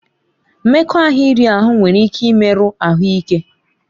Mmekọahụ iri ahụ nwere ike imerụ ahụ ike.